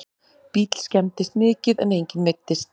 Bíll skemmdist mikið en enginn meiddist